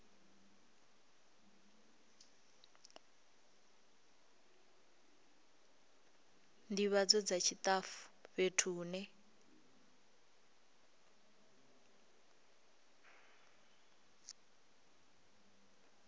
ndivhadzo dza tshitafu fhethu hune